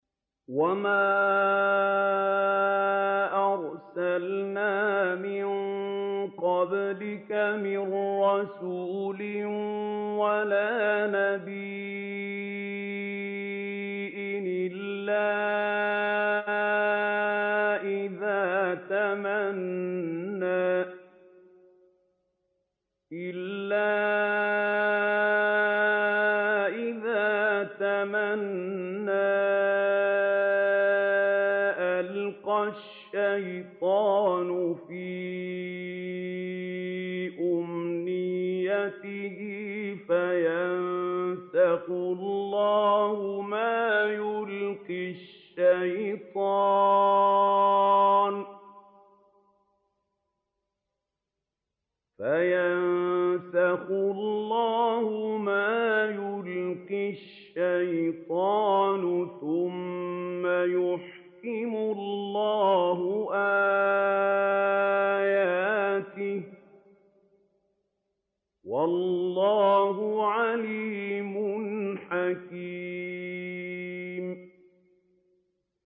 وَمَا أَرْسَلْنَا مِن قَبْلِكَ مِن رَّسُولٍ وَلَا نَبِيٍّ إِلَّا إِذَا تَمَنَّىٰ أَلْقَى الشَّيْطَانُ فِي أُمْنِيَّتِهِ فَيَنسَخُ اللَّهُ مَا يُلْقِي الشَّيْطَانُ ثُمَّ يُحْكِمُ اللَّهُ آيَاتِهِ ۗ وَاللَّهُ عَلِيمٌ حَكِيمٌ